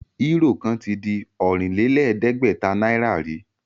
Euro kan tí je Ọ̀rìnlẹ̀ẹ́dẹ́gbẹ̀ta náírà rí